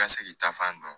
Ka se k'i ta fan dɔn